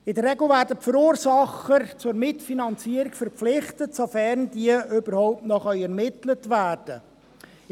In der Regel werden die Verursacher zur Mitfinanzierung verpflichtet, sofern diese noch ermittelt werden können.